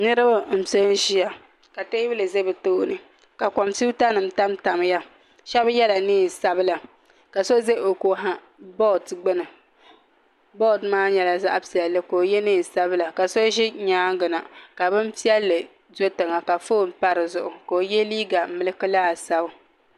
Niraba n pɛ n ʒiya ka teebuli ʒʋ bi tooni ka kompiuta nim tamtamya shab yɛla neen sabila ka so ʒɛ o ko ha bood gbuni bood maa nyɛla zaɣ piɛlli ka o yɛ neen sabila ka so ʒi nyaanga na ka bin piɛlli do tiŋa ka foon pa di zuɣu ka o yɛ liiga milki laasabu